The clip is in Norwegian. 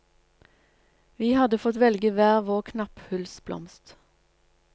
Vi hadde fått velge hver vår knapphullsblomst.